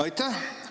Aitäh!